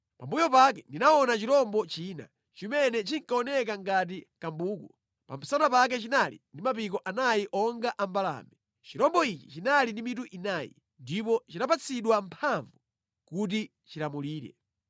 “Pambuyo pake, ndinaona chirombo china, chimene chinkaoneka ngati kambuku. Pa msana pake chinali ndi mapiko anayi onga a mbalame. Chirombo ichi chinali ndi mitu inayi, ndipo chinapatsidwa mphamvu kuti chilamulire.